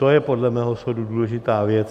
To je podle mého soudu důležitá věc.